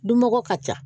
Dunmɔgɔ ka ca